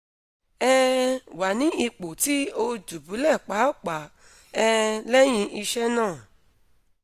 um wa ni ipo ti oi dubulẹ paapaa um lẹhin iṣe naa